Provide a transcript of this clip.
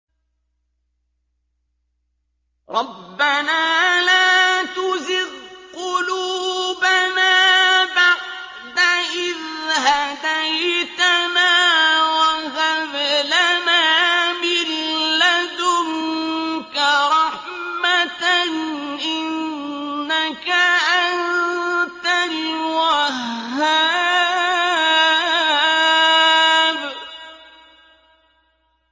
رَبَّنَا لَا تُزِغْ قُلُوبَنَا بَعْدَ إِذْ هَدَيْتَنَا وَهَبْ لَنَا مِن لَّدُنكَ رَحْمَةً ۚ إِنَّكَ أَنتَ الْوَهَّابُ